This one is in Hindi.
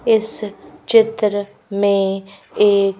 इस चित्र में एक--